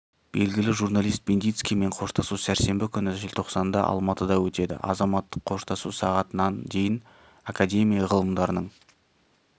белгілі журналист бендицкиймен қоштасу сәрсенбі күні желтоқсанда алматыда өтеді азаматтық қоштасу сағат нан дейін академия ғылымдарының